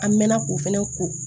An mɛɛnna k'o fɛnɛ ko